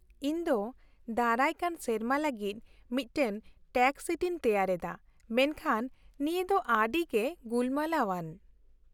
-ᱤᱧ ᱫᱚ ᱫᱟᱨᱟᱭᱠᱟᱱ ᱥᱮᱨᱢᱟ ᱞᱟᱹᱜᱤᱫ ᱢᱤᱫᱴᱟᱝ ᱴᱮᱠᱥ ᱥᱤᱴ ᱤᱧ ᱛᱮᱭᱟᱨ ᱮᱫᱟ, ᱢᱮᱱᱠᱷᱟᱱ ᱱᱤᱭᱟᱹ ᱫᱚ ᱟᱹᱰᱤᱜᱮ ᱜᱩᱞᱢᱟᱞᱟᱣᱼᱟᱱ ᱾